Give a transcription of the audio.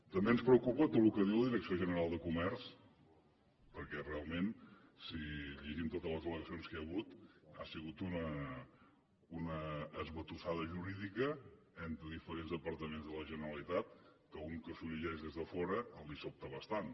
també ens preocupa tot el que diu la direcció general de comerç perquè realment si llegim totes les al·legacions que hi ha hagut ha sigut una esbatussada jurídica entre diferents departaments de la generalitat que un que s’ho llegeix des de fora el sobta bastant